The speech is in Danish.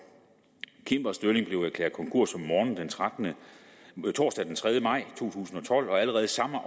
cimbersterling blev erklæret konkurs om morgenen torsdag den tredje maj to tusind og tolv og allerede samme